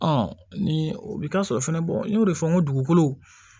ni o bɛ taa sɔrɔ fɛnɛ n y'o de fɔ n ko dugukolo